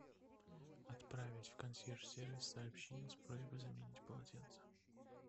отправить в консьерж сервис сообщение с просьбой заменить полотенце